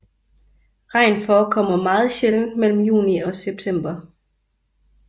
Regn forekommer meget sjældent mellem juni og september